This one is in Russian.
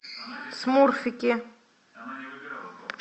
смурфики